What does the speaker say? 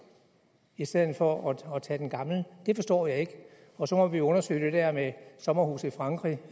i stedet for at tage den gamle det forstår jeg ikke og så må vi jo undersøge det der med sommerhuse i frankrig